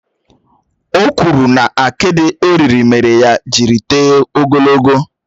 Ò kwụrụ na akidi ò riri mére ya jiri tóo ogologo